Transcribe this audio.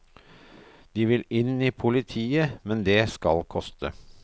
De vil inn i politiet, men det skal koste.